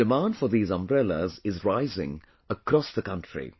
Today the demand for these umbrellas is rising across the country